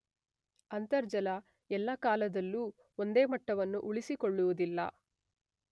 ಅಂತರ್ಜಲ ಎಲ್ಲ ಕಾಲದಲ್ಲೂ ಒಂದೇ ಮಟ್ಟವನ್ನು ಉಳಿಸಿಕೊಳ್ಳುವುದಿಲ್ಲ.